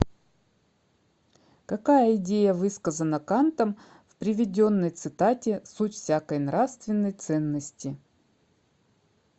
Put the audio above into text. какая идея высказана кантом в приведенной цитате суть всякой нравственной ценности